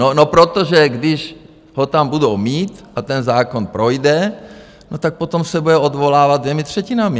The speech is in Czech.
No protože když ho tam budou mít a ten zákon projde, no tak potom se bude odvolávat těmi třetinami.